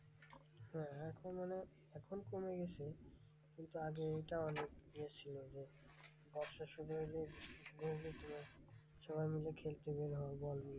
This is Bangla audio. এখন মানে এখন কমে গেছে। কিন্তু আগে এটা অনেক এ ছিল যে, বর্ষা শুরু হলে ঘুম হতো না, সবাই মিলে খেলতে বের হবো বল নিয়ে।